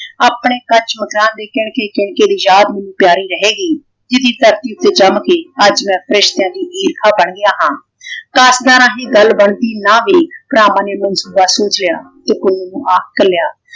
ਆਪਣੇ ਕੱਚ ਮਕਾਨ ਦੀ ਕਿਨਕੇ ਕਿਨਕੇ ਦੀ ਯਾਦ ਮੈਨੂੰ ਪਿਆਰੀ ਰਹੇਗੀ। ਜਿਹਦੀ ਧਰਤੀ ਤੋਂ ਜੰਮ ਕੇ ਅੱਜ ਮੈਂ ਫ਼ਰਿਸ਼ਤਿਆਂ ਦੀ ਈਰਖਾਂ ਬਣ ਗਿਆ ਹਾਂ। ਕਾਸਤਦਾਨਾਂ ਦੀ ਗੱਲ ਬਣਦੀ ਨਾ ਵੇਖ ਭਰਾਵਾਂ ਨੇ ਮੈਨੂੰ ਸੁਝਾਅ ਸੋਚਿਆ ਕਿ ਪੁੰਨੂੰਆਂ ਇੱਕਲਿਆ